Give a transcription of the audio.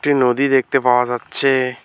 একটি নদী দেখতে পাওয়া যাচ্ছে।